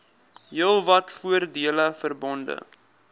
heelwat voordele verbonde